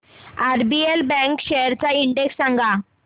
RBL bank shares चा index सांगा